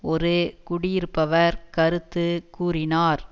ஒரு குடியிருப்பவர் கருத்து கூறினார்